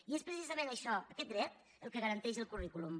i és precisament això aquest dret el que garanteix el currículum